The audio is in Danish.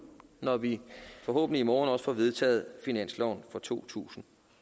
når vi forhåbentlig i morgen også får vedtaget finansloven for to tusind